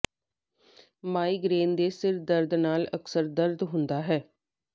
migraine ਦੇ ਸਿਰ ਦਰਦ ਨਾਲ ਅਕਸਰ ਦਰਦ ਹੁੰਦਾ ਹੈ